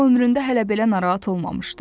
O ömründə hələ belə narahat olmamışdı.